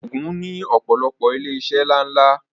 Ògùn ní ọ̀pọ̀lọpọ̀ ilé iṣẹ́ ńlá ńlá